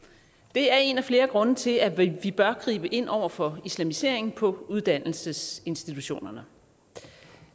det er en af flere grunde til at vi vi bør gribe ind over for islamisering på uddannelsesinstitutionerne